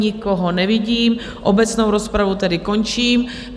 Nikoho nevidím, obecnou rozpravu tedy končím.